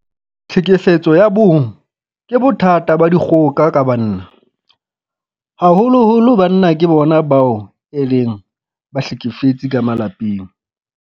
Tlhekefetso ya bong ke bothata ba dikgoka ka banna. Haholoholo banna ke bona bao e leng bahlekefetsi ka malapeng.